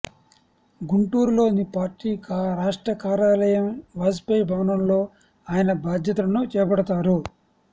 గుంటూరులోని పార్టీ రాష్ట్ర కార్యాలయం వాజ్పేయి భవన్లో ఆయన బాధ్యతలను చేపడతారు